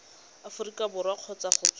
aforika borwa kgotsa go tswa